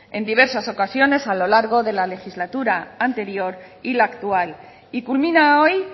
en diversas ocasiones a lo largo de la legislatura anterior y la actual y culmina hoy